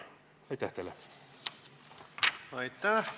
Aitäh!